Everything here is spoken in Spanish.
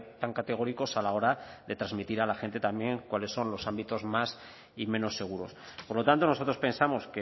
tan categóricos a la hora de transmitir a la gente también cuáles son los ámbitos más y menos seguros por lo tanto nosotros pensamos